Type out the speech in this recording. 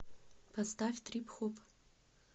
поставь трип хоп